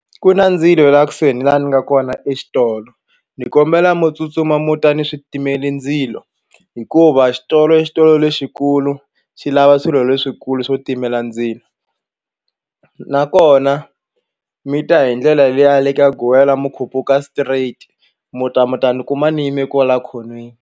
Ku na ndzilo la kusuhi ni la ni nga kona exitolo ni kombela mu tsutsuma mu ta ni switimele ndzilo hikuva xitolo i xitolo lexikulu xi lava swilo leswikulu swo timela ndzilo nakona mi ta hi ndlela liya ya le ka guwela mu khuphuka straight mu ta mu ta ni kuma ni yime kwala khonweni.